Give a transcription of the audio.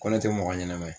Ko ne tɛ mɔgɔ ɲɛnɛma ye